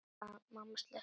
Mamma sleppti honum.